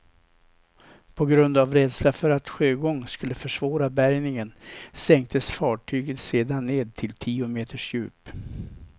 På grund av rädsla för att sjögång skulle försvåra bärgningen sänktes fartyget sedan ned till tio meters djup.